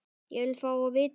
Ég vil fá að vita það!